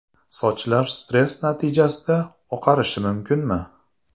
Sochlar stress natijasida oqarishi mumkinmi?.